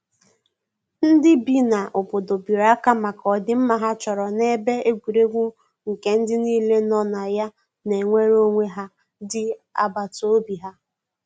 ndi bi na obodo biri aka maka odi mma ha chọrọ na ebe egwuregwu nke ndi nile no na ya na enweyere onwe ha di agbata obi ha.